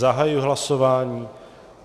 Zahajuji hlasování.